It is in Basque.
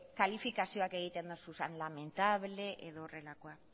kalifikazioak egiten dozuzan lamentable edo horrelakoak